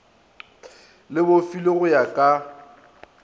le bofilwe go ya ka